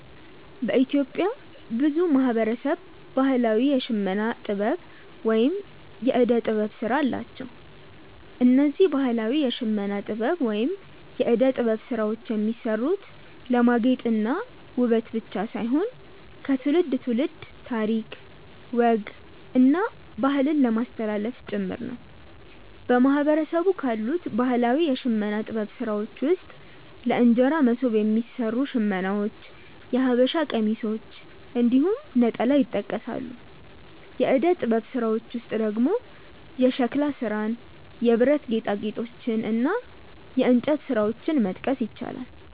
በኢትዮጵያ ብዙ ማህበረሰብ ባህላዊ የሽመና ጥበብ ወይም የእደ ጥበብ ስራ አላቸው። እነዚህ ባህላዊ የሽመና ጥበብ ወይም የእደ ጥበብ ስራዎች የሚሰሩት ለማጌጥ እና ውበት ብቻ ሳይሆን ከትውልድ ትውልድ ታሪክ፣ ወግ እና ባህልን ለማስተላለፍ ጭምር ነው። በማህበረሰቡ ካሉት ባህላዊ የሽመና ጥበብ ስራዎች ውስጥ ለእንጀራ መሶብ የሚሰሩ ሽመናዎች፣ የሐበሻ ቀሚሶች እንዲሁም ነጠላ ይጠቀሳሉ። የእደ ጥበብ ስራዎች ውስጥ ደግሞ የሸክላ ስራን፣ የብረት ጌጣጌጦችን እና የእንጨት ስራዎችን መጥቀስ ይቻላል።